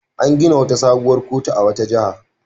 An gina wata sabuwar kotu a wata jiha.